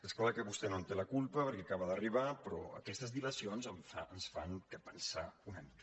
és clar que vostè no en té la culpa perquè acaba d’arribar però aquestes dilacions ens fan pensar una mica